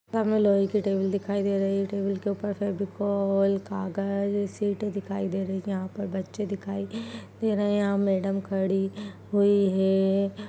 --सामने लोहे की टेबल दिखाई दे रही है टेबल के ऊपर फैविकोल कागज सीटे दिखाई दे रही है यहाँ पे बच्चे दिखाई दे रहे है यहाँ मैडम खड़ी हुई है।